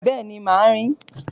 Bẹ́ẹ̀ni, màá rìn